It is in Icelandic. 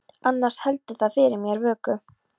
Annars heldur það fyrir mér vöku.